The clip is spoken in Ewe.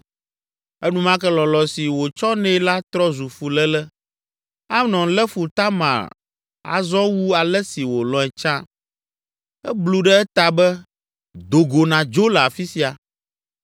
Enumake lɔlɔ̃ si wòtsɔ nɛ la trɔ zu fuléle. Amnon lé fu Tamar azɔ wu ale si wòlɔ̃e tsã. Eblu ɖe eta be, “Do go nàdzo le afi sia!”